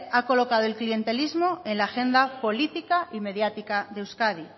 ha colocado el clientelismo en la agenda política y mediática de euskadi